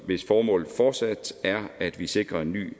hvis formål fortsat er at vi sikrer en ny